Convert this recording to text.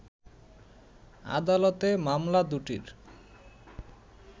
আদালতে মামলা দুটির